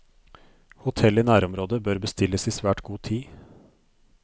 Hotell i nærområdet bør bestilles i svært god tid.